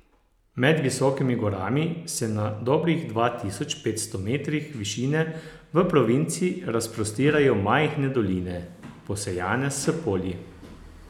Med visokimi gorami se na dobrih dva tisoč petsto metrih višine v provinci razprostirajo majhne doline, posejane s polji.